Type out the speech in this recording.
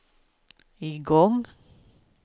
igång